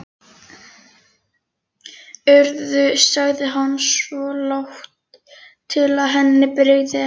Urður sagði hann svo, lágt til að henni brygði ekki.